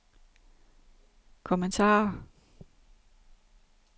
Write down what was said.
kommentarer